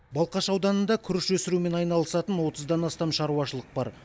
балқаш ауданында күріш өсірумен айналысатын отыздан астам шаруашылық бар